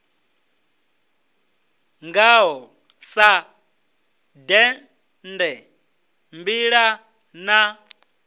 ngaho sa dende mbila na